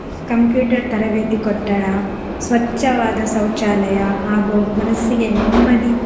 Computer ತರಬೇತಿ ಕಟ್ಟಡ, ಸ್ವಚ್ಚವಾದ ಶೌಚಾಲಯ ಹಾಗು ಮನಸ್ಸಿಗೆ ನೆಮ್ಮದಿ